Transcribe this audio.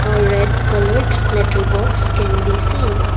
a red coloured letter box can be seen.